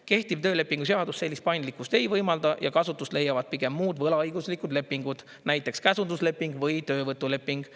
Kehtiv töölepingu seadus sellist paindlikkust ei võimalda ja kasutust leiavad pigem muud võlaõiguslikud lepingud, näiteks käsundusleping või töövõtuleping.